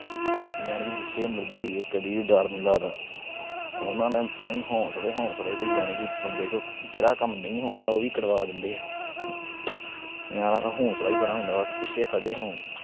ਯਾਨੀ ਕਿ ਜਿਥੇ ਮਰਜੀ ਹੋਈਏ, ਕਦੇ ਵੀ ਡਰ ਨੀ ਲੱਗਦਾ। ਉਹਨਾਂ ਨੇ ਤਾਂ ਹੀ ਹੌਂਸਲੇ-ਹੌਂਸਲੇ ਈ ਦੇਈ ਜਾਣੇ ਕਿ ਬੰਦੇ ਕੋਲ ਜਿਹੜਾ ਕੰਮ ਨਹੀਂ ਹੋਣਾ, ਉਹ ਵੀ ਕਰਵਾ ਦਿੰਦੇ ਆ। ਯਾਰਾਂ ਦਾ ਹੌਂਸਲਾ ਈ ਬੜਾ ਹੁੰਦਾ ਬਸ ਪਿੱਛੇ ਖੜ੍ਹੇ ਹੋਣ।